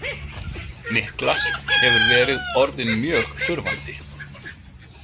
Niklas hefur verið orðinn mjög þurfandi.